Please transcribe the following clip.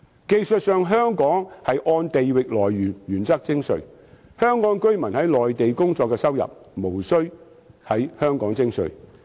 技術上，香港按地域來源的原則徵稅，香港居民在內地工作的收入無須在香港徵稅。